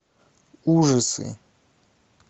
ужасы